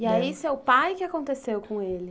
E aí seu pai, o que aconteceu com ele?